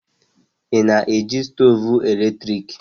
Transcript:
Ị na eji stoovu eletrik?